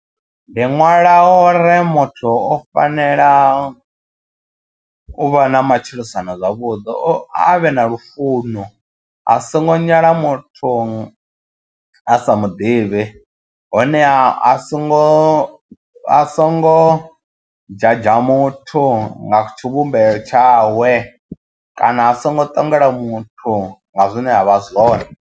Ndi ṅwala o re muthu o fanela u vha na matshilisano zwavhuḓi o a vhe na lufuno asongo nyala muthu a sa muḓivhi honeha a songo a songo judger muthu nga tshivhumbeo tshawe kana a songo ṱangela muthu nga zwine avha zwone.